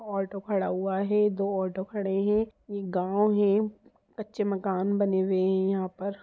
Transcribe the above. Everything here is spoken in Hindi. ऑटो खड़ा हुआ है दो ऑटो खड़े है एक गांव है कच्चे मकान बने हुए है यहां पर--